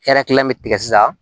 Hɛrɛ kilan bɛ tigɛ sisan